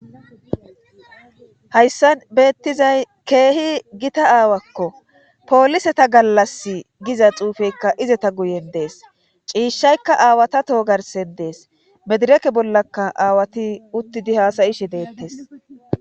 Hayssan beettizay keehi gita aawakkopooliseta gallasi giza xuufeykka izata guyen dees ccishaykka aaawata toho garssan dees medireeke bollakka aawati uttidi haasa7ishe deettes.